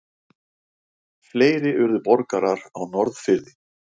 Fleiri urðu borgarar á Norðfirði.